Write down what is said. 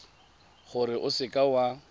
gore o seka w a